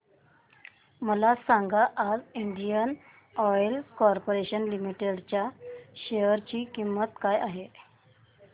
मला सांगा आज इंडियन ऑइल कॉर्पोरेशन लिमिटेड च्या शेअर ची किंमत काय आहे